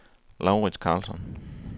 Laurits Carlsson